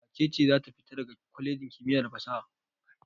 Wace ce za ta fita daga kwalejin kimiyya da fasaha?